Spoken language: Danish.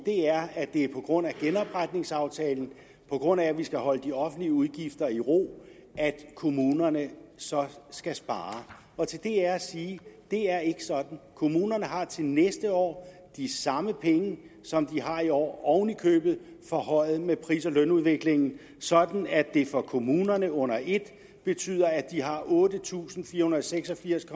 er at det er på grund af genopretningsaftalen og på grund af at vi skal holde de offentlige udgifter i ro at kommunerne skal spare og til det er at sige det er ikke sådan kommunerne har til næste år de samme penge som de har i år oven i købet forhøjet med pris og lønudviklingen sådan at det for kommunerne under et betyder at de har otte tusind fire hundrede og seks og firs